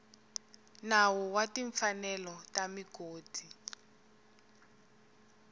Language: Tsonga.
nawu wa timfanelo ta migodi